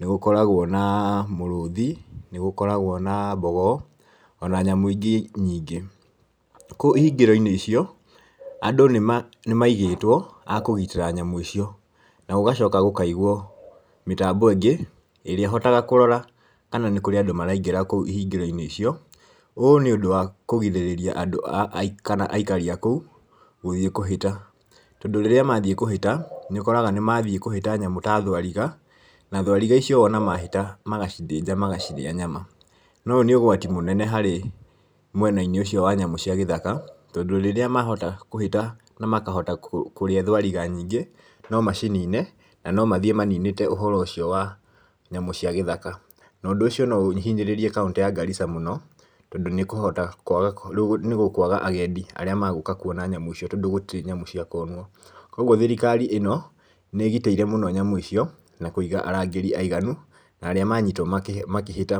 nĩ gũkoragwo na mũrũthi, nĩ gũkoragwo na mbogo, ona nyamũ ingĩ nyingĩ. Kũu ihingĩro-inĩ icio, andũ nĩ ma nĩ maigĩtwo a kũgitĩra nyamũ icio, na gũgacoka gũkaigwo mĩtambo ĩngĩ, ĩrĩa ĩhotaga kũrora kana nĩ kũrĩ andũ maraingĩra kũu ihingĩro-inĩ icio, ũũ nĩ ũndũ wa kũgirĩrĩria andũ a kana aikari a kũu gũthiĩ kũhĩta, tondũ rĩrĩa mathiĩ kũhĩta, nĩũkoraga nĩ mathiĩ kũhĩta nyamũ ta thwariga na thwariga icio wona mahĩta magacithĩnja magacirĩa nyama, na ũyũ nĩ ũgwati mũnene harĩ mwena-inĩ ũcio wa nyamũ cia gĩthaka, tondũ rĩrĩa mahota kũhĩta na makahota kũrĩa thwariga nyingĩ, no macinine, na no mathiĩ maninĩte ũhoro ũcio wa nyamũ cia gĩthaka, na ũndũ ũcio no ũhinyĩrĩrie kauntĩ ya Garissa mũno, tondũ nĩ ĩkũhota kwaga rĩu nĩ gũkwaga agendi arĩa magũka kwona nyamũ icio tondũ gũtirĩ nyamũ cia kuonwo, koguo thirikari ĩno, nĩ ĩgitĩire mũno nyamũ ico, na kũiga arangĩri aiganu, na arĩa manyitwo makĩhĩta ma.